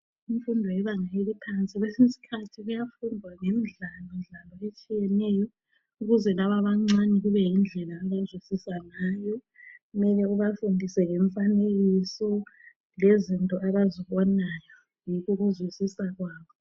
Imfundo ebangeni eliphansi, kwesinye isikhathi kuyafundwa ngemidlalo dlalo etshiyeneyo ukuze laba abancane kube yindlela abazwisisa ngayo mele ubafundise ngemfanekiso lezinto abazibonayo. Yikho ukuzwisisa kwabo.